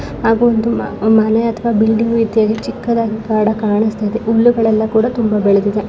ಹಾಗು ಒಂದು ಮನೆ ಅಥವಾ ಬಿಲ್ಡಿಂಗ್ ರೀತಿ ಆಗಿ ಚಿಕ್ದುದಾಗಿ ಕಾಣಿಸ್ತಾ ಇದೆ ಹುಲ್ಲುಗಲ್ಲೆಲಾ ಕೂಡ ತುಂಬಾ ಬೆಳೆದಿದೆ